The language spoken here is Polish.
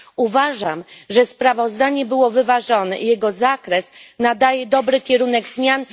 Uważam, że sprawozdanie było wyważone i jego zakres nadaje dobry kierunek zmian.